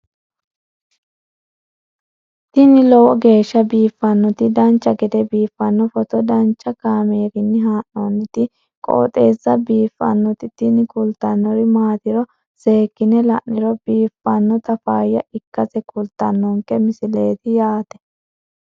tini lowo geeshsha biiffannoti dancha gede biiffanno footo danchu kaameerinni haa'noonniti qooxeessa biiffannoti tini kultannori maatiro seekkine la'niro biiffannota faayya ikkase kultannoke misileeti yaate